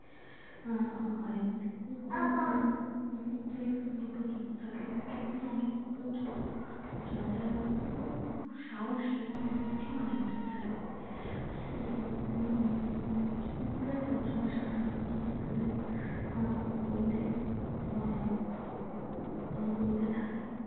কুকুর খুব সাহসী এবং বুদ্ধিমান একটা প্রাণী কুকুর উম কুকুরের রচনা সাধারণত ছোটদের আহ বইতে দেয়া হয় এবং বইতে থাকে।